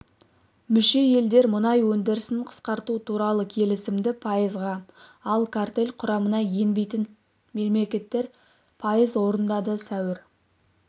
мүше елдер мұнай өндірісін қысқарту туралы келісімді пайызға ал картель құрамына енбейтін мемлекеттер пайыз орындады сәуір